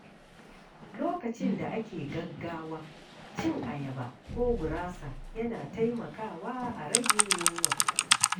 Lokacin da ake gaggawa, cin ayaba ko gurasa yana taimaka a rage yunwa.